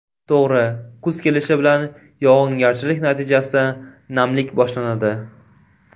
To‘g‘ri, kuz kelishi bilan yog‘ingarchilik natijasida namlik boshlanadi.